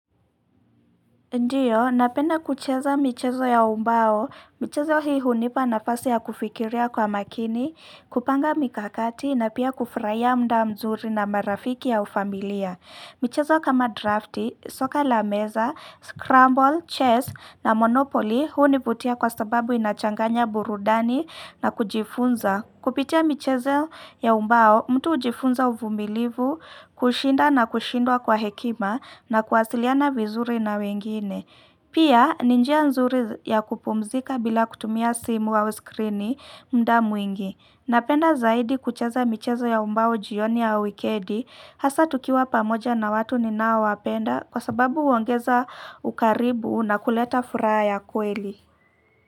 Ndio, napenda kucheza michezo ya ubao, michezo hii hunipa nafasi ya kufikiria kwa makini, kupanga mikakati na pia kufurahia muda mzuri na marafiki au familia. Michezo kama drafti, soka la meza, scramble, chess na monopoly huu hunivutia kwa sababu inachanganya burudani na kujifunza. Kupitia michezo ya ubao, mtu ujifunza uvumilivu, kushinda na kushindwa kwa hekima na kuwasiliana vizuri na wengine. Pia, ni njia nzuri ya kupumzika bila kutumia simu au skirini muda mwingi. Napenda zaidi kucheza michezo ya ubao jioni ya wikendi, hasa tukiwa pamoja na watu ninao wapenda kwa sababu uongeza ukaribu na kuleta furaha ya kweli.